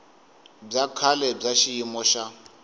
bya kahle bya xiyimo xa